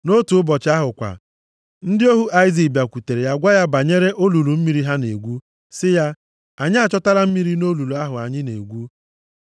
Nʼotu ụbọchị ahụ kwa, ndị ohu Aịzik bịakwutere ya gwa ya banyere olulu mmiri ha na-egwu, sị ya, “Anyị achọtala mmiri nʼolulu ahụ anyị na-egwu.”